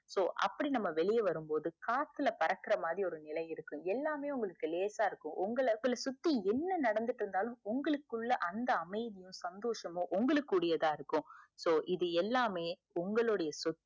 so அப்புடி நம்ம வெளிய வரும்போது காத்துல பறக்குற மாதிரி ஒரு நிலை இருக்கும் எல்லாமே உங்களுக்கு லேசா இருக்கும் உங்கள சுத்தி என்ன நடந்துட்டு இருந்தாலும் உங்களுக்குள்ள அந்த அமைதியும் சந்தோசமும் உங்களுடையதா இருக்கும் so இது எல்லாமே உங்களுடைய சொத்து